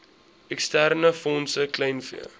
eksterne fondse kleinvee